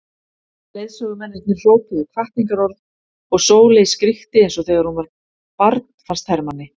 Leiðsögumennirnir hrópuðu hvatningarorð og Sóley skríkti eins og þegar hún var barn fannst Hermanni.